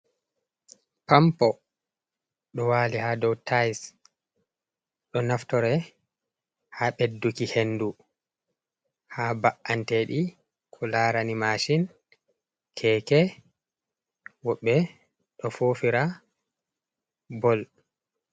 Pampo, ɗo wali ha ɗow tais. Ɗo naftore ha ɓeɗɗuki henɗu ha ba’anteɗi, ko larani mashin, keeke, woɓɓe ɗo fofira ɓol.